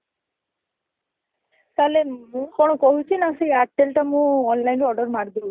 ତାହେଲେ ମୁଁ କଣ କହୁଚି ନା ସେ ଏୟାରଟେଲଟା ମୁଁ online ରୁ order ମାରିଦଉଚି